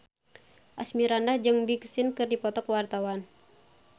Asmirandah jeung Big Sean keur dipoto ku wartawan